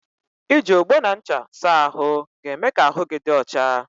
I ji ogbo na ncha saa ahụ ga-eme ka ahụ gị dị ọcha.